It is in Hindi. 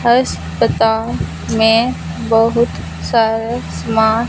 अस्पताल में बहुत सारा समान--